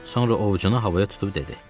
Sonra ovucunu havaya tutub dedi: